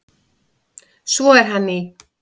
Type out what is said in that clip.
Svo er hann í